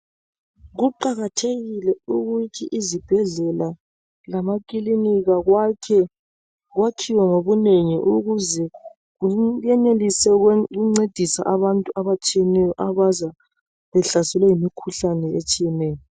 Kuqakathekile ukuthi izibhedlela lamakilinika kwakhiwe ngobunengi ukuze kuyenelise ukuncedisa abantu abaza behlaselwe yimikhuhlane etshiyeneyo.